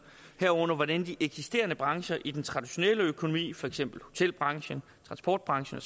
herunder hvordan de eksisterende brancher i den traditionelle økonomi for eksempel hotelbranchen transportbranchen